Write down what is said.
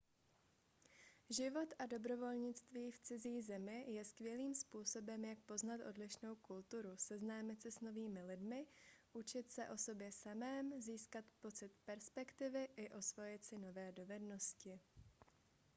život a dobrovolnictví v cizí zemi je skvělým způsobem jak poznat odlišnou kulturu seznámit se s novými lidmi učit se o sobě samém získat pocit perspektivy i osvojit si nové dovednosti